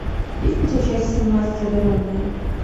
есть ли у тебя часть семнадцать одаренные